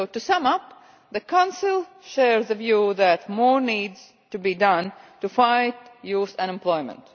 To sum up, the Council shares the view that more needs to be done to fight youth unemployment.